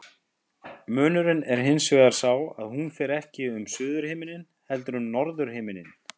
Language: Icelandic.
Munurinn er hins vegar sá að hún fer ekki um suðurhimininn heldur um norðurhimininn.